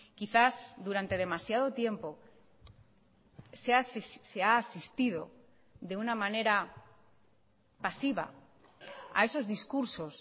quizás durante demasiado tiempo se ha asistido de una manera pasiva a esos discursos